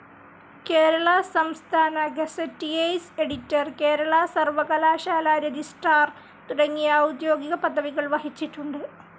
കേരള സംസ്ഥാന gazetteers editor, Kerala സർവ്വകലാശാലാ registrar തുടങ്ങിയ ഔദ്യോഗിക പദവികൾ വഹിച്ചിട്ടുണ്ട്.